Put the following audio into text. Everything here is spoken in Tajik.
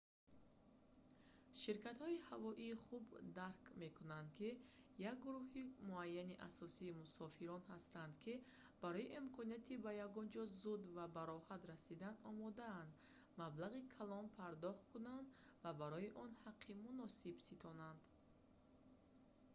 ширкатҳои ҳавоӣ хуб дарк мекунанд ки як гурӯҳи муайяни асосии мусофирон ҳастанд ки барои имконияти ба ягонҷо зуд ва бароҳат расидан омодаанд маблағи калон пардохт кунанд ва барои он ҳаққи муносиб ситонанд